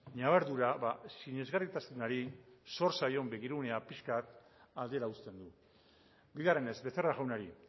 ñabardura sinesgarritasunari zor zaion begirunea pixka bat aldera uzten du bigarrenez becerra jaunari